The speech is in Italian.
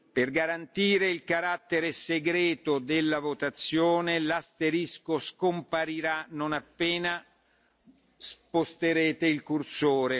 Per garantire il carattere segreto della votazione, l'asterisco scomparirà non appena sposterete il cursore.